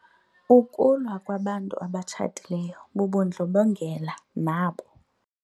Ukulwa kwabantu abatshatileyo bubundlobongela nabo.